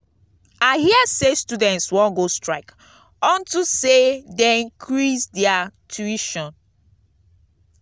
i hear say students wan go strike unto say dey increase their tuition.